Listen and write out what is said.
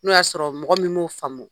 N'o y'a sɔrɔ mɔgɔ min m'o faamu